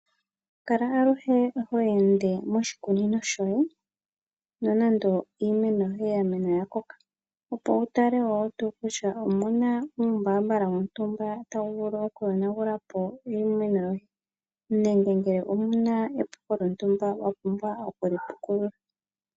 Kala aluhe ho ende moshikunino shoye nonande iimeno yoye oya mena ya koka, opo wu tale ngele omuna uumbaambala wontumba tawu vulu oku yonagula po iimeno yoye , nenge pamwe omuna epuko lyontumba wa pumbwa oku li pukulula.